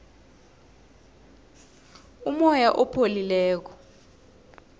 umoya opholileko